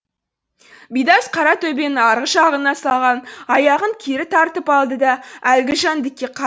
бидас қара төбенің арғы жағына салған аяғын кері тартып алды да әлгі жәндікке